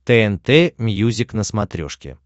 тнт мьюзик на смотрешке